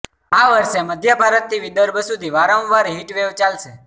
આ વર્ષે મધ્ય ભારતથી વિદર્ભ સુધી વારંવાર હીટવેવ ચાલશે